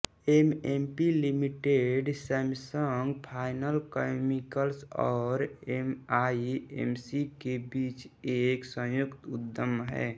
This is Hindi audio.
SMP limited Samsung fine chemicals और एमईएमसी के बीच एक संयुक्त उद्यम है